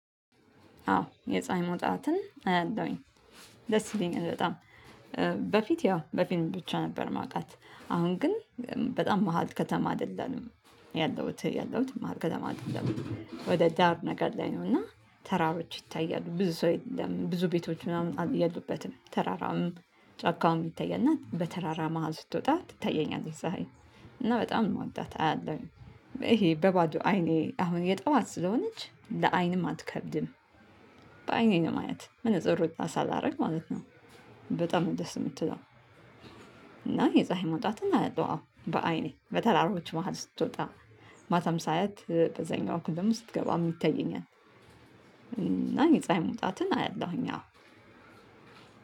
አዎ የፀሀይ መውጣትን አያለሁኝ ደስ ይለኛል በጣም። በፊት ያው በፊትም ብቻ ነበር ማቃት አሁን ግን በጣም መሃል ከተማ አይደለም ያለሁት ያለሁት መሃል ከተማ አይደለም ወደ ዳር ነገር ላይ ነው። እና ተራራዎች ይታያሉ ብዙ ሰው የለም ብዙ ቤቶች ምናምን የሉበትም ተራራውም ጫካውም ይታያልና በተራራ መሃል ስትወጣ ትታየኛለች። ዛሬ እና በጣም ነው የምወዳት አያለሁኝ ይሄ በባዶ አይኔ አሁን የጠዋት ስለሆነች ለአይንም አትከብድም። በአይኔ ነው ማያት መነፅር ሳላረግ ማለት ነው። በጣም ደስ የምትለው። እና የፀሀይ መውጣትን አያለው አዎ በአይኔ በተራሮች መሃል ስትወጣ ማታም ሳያት በዛኛው እኩል ደግሞ ስትገባ የሚታየኛል። እና የፀሀይ ሙውጣትን አያለሁኝ አዎ።